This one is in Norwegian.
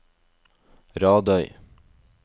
Radøy